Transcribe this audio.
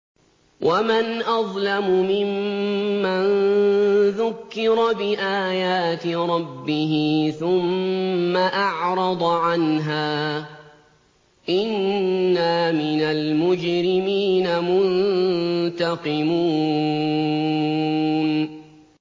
وَمَنْ أَظْلَمُ مِمَّن ذُكِّرَ بِآيَاتِ رَبِّهِ ثُمَّ أَعْرَضَ عَنْهَا ۚ إِنَّا مِنَ الْمُجْرِمِينَ مُنتَقِمُونَ